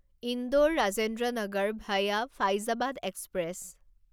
Indore Rajendra Nagar via Faizabad express